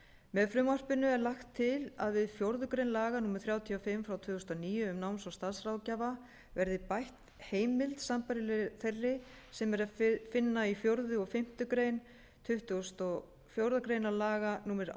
með frumvarpinu er lagt til að við fjórðu grein laga númer þrjátíu og fimm tvö þúsund og níu um náms og starfsráðgjafa verði bætt heimild sambærilegri þeirri sem er að finna í fjórða og fimmtu málsgrein tuttugustu og fjórðu grein laga númer